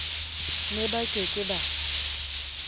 ne ba ke ke ba